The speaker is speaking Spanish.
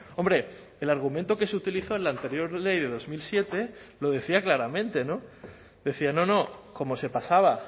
hombre el argumento que se utilizó en la anterior ley de dos mil siete lo decía claramente decía no no como se pasaba